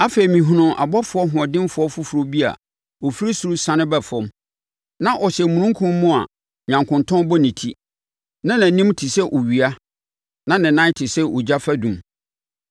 Afei, mehunuu ɔbɔfoɔ hoɔdenfoɔ foforɔ bi a ɔfiri ɔsoro resiane ba fam. Na ɔhyɛ omununkum mu a nyankontɔn bɔ ne ti. Na nʼanim te sɛ owia, na ne nan te sɛ ogya fadum.